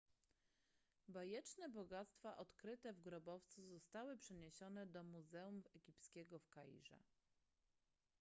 bajeczne bogactwa odkryte w grobowcu zostały przeniesione do muzeum egipskiego w kairze